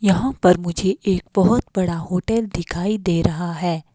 यहां पर मुझे एक बहुत बड़ा होटल दिखाई दे रहा है।